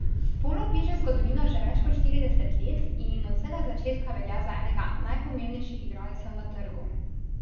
Polo piše zgodovino že več kot štirideset let in od vsega začetka velja za enega najpomembnejših igralcev na trgu.